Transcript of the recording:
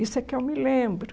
Isso é que eu me lembro.